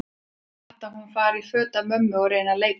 Er það satt að hún fari í föt af mömmu og reyni að leika hana?